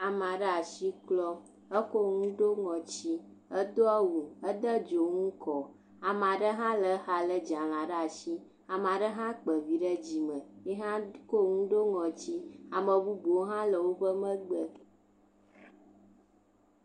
Ame aɖe asi klɔm ekɔ nu ɖo ŋɔti edo awu ade dzonu kɔ ame aɖe hã le exa lé dzalɛ ɖe asi ame aɖe hã kpa vi ɖe dzi meyi hã kɔ nu ɖo ŋɔti ame bubuwo hã le wo megbe.